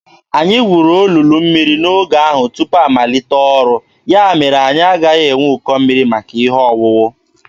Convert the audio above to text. Anyị gwuru olulu mmiri n’ogige ahụ tupu amalite ọrụ; ya mere anyị agaghị enwe ụkọ mmiri maka ihe owuwu.